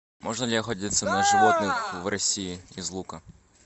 можно ли охотиться на животных в россии из лука